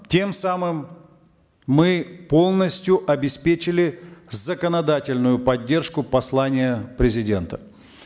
тем самым мы полностью обеспечили законодательную поддержку послания президента